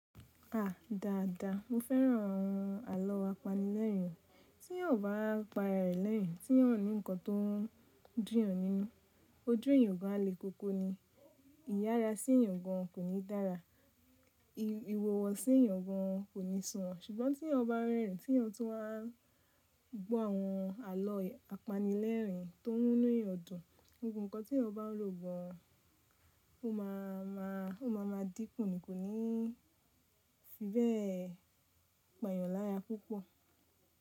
A dáadáa. Mo fẹ́ràn àwọn àlọ́ apanilẹ́ẹ̀rín, tí eeyan ò bá pa araẹ̀ lẹ́ẹ̀rín, t'eyan a ò ní nǹkan tó ń dún'yan nínú. Ojú eeyàn o ba lé koko ni. Ìyára sí ìyàn gan kò ní dára. Ìhuwa sí eyàn gan kò ní sunwon. Ṣùgbọ́n tí ẹeyan bá rẹ́rìn tí ẹeyan tun wá gbọ́ àwọn àlọ́ apanilẹ́ẹ̀rín tó mùnu eeyan dùn, gbogbo nǹkan tí ẹeyan bá n rò gan ó má a ma dínkù ni kò ní fi bẹ́ẹ̀ pa'yàn lára púpọ̀